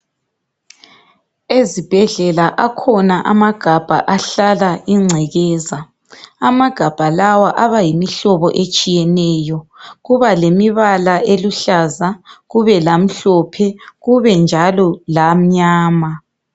Ezibhedlela akhona amagabha ahlala ingcekeza. Amagabha lawa abayimihlobo etshiyeneyo. Kubalemibala eluhlaza kube lamhlophe kube njalo lamnyama